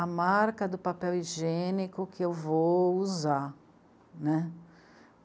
a marca do papel higiênico que eu vou usar, né.